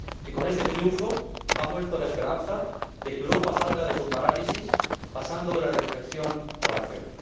Y con este triunfo, ha vuelto la esperanza de que Europa salga de su parálisis, pasando de la reflexión a la acción.